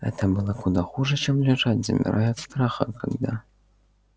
это было куда хуже чем лежать замирая от страха когда